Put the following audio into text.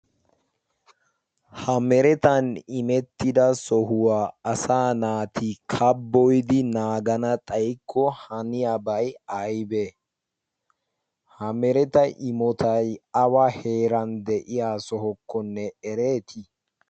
ha meretan imettida sohuwaa asa naati kaboidi naagana xaikko haniyaabai aibee? ha mereta imotai awa heeran de7iya sohokkonne ereetii?